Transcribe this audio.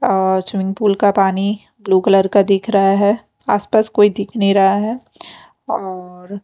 अ swimming pool का पानी blue colour का दिख रहा है आसपास कोई दिख नहीं रहा है औऔर --